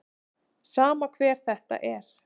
Sama hver þetta er.